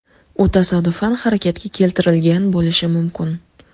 U tasodifan harakatga keltirilgan bo‘lishi mumkin.